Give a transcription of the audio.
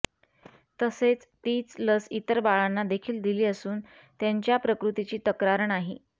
तसेच तीच लस इतर बाळांना देखील दिली असून त्यांच्या प्रकृतीची तक्रार नाही